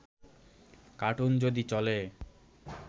cartoon যদি চলে